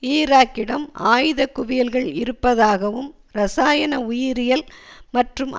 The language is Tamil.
ஈராக்கிடம் ஆயுத குவியல்கள் இருப்பதாகவும் இரசாயண உயிரியில் மற்றும்